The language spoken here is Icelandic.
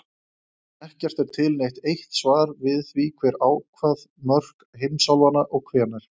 Ekki er til neitt eitt svar við því hver ákvað mörk heimsálfanna og hvenær.